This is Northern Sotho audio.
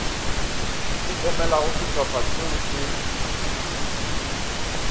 e emelago šehlopha šeo še